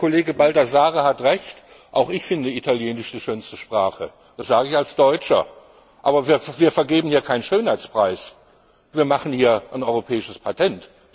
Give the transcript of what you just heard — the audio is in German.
Ich finde der Kollege Baldassarre hat Recht Auch ich halte Italienisch für die schönste Sprache das sage ich als Deutscher aber wir vergeben hier keinen Schönheitspreis, wir machen hier ein europäisches Patent.